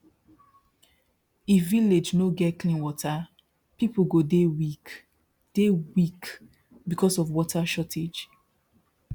if village no get clean water people go dey weak dey weak because of water shortage